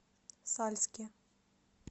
сальске